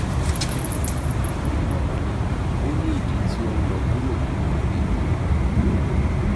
ni imọran mi o ni idi ti o nlọ kuro ninu ikun